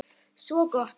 Svo gott!